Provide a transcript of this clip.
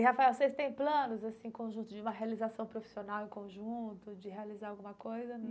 E, Rafael, vocês têm planos assim conjunto de uma realização profissional em conjunto, de realizar alguma coisa?